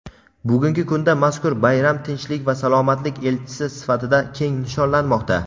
Bugungi kunda mazkur bayram tinchlik va salomatlik elchisi sifatida keng nishonlanmoqda.